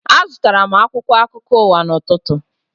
Azụtara m akwụkwọ akụkọ ụwa n'ụtụtụ